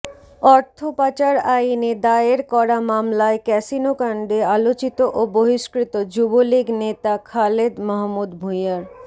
অর্থপাচার আইনে দায়ের করা মামলায় ক্যাসিনোকাণ্ডে আলোচিত ও বহিষ্কৃত যুবলীগ নেতা খালেদ মাহমুদ ভূঁইয়ার